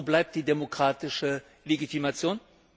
Wo bleibt die demokratische Legitimation?